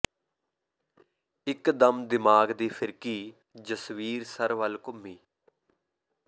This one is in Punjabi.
ਇਕ ਦਮ ਦਿਮਾਗ ਦੀ ਫਿਰਕੀ ਜਸਬੀਰ ਸਰ ਵੱਲ ਘੁੰਮੀ